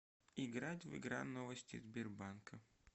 играть в игра новости сбербанка